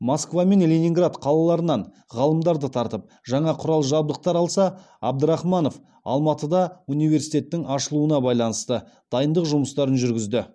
москва мен ленинград қалаларынан ғалымдарды тартып жаңа құрал жабдықтар алса абдрахманов алматыда университеттің ашылуына байланысты дайындық жұмыстарын жүргізді